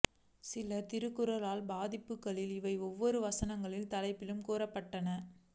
சில திருகுர்ஆன் பதிப்புகளில் இவை ஒவ்வொரு வசனங்களின் தலைப்பிலும் குறிக்கப்பட்டன